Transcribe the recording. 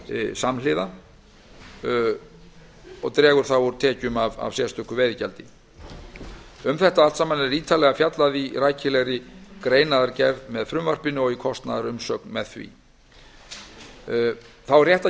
samhliða sem dregur úr tekjum af sérstöku veiðigjaldi um þetta allt saman er ítarlega fjallað í rækilegri greinargerð með frumvarpinu og kostnaðarumsögn með því þá er rétt að